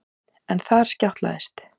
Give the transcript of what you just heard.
En þar skjátlaðist